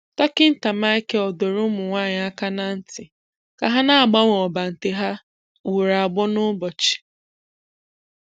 Dọkítà Michael dọ̀rọ̀ ụmụnwáanyị aka n’ntị ka ha na-agbanwe ọ́bàntè ha ugboro abụọ n’ụbọchị.